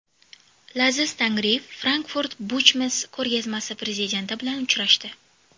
Laziz Tangriyev Frankfurter Buchmesse ko‘rgazmasi prezidenti bilan uchrashdi.